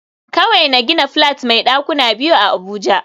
Kawai na gina flat mai dakuna biyu a abuja